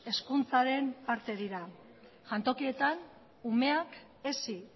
hezkuntzaren parte dira jantokietan umeak hezi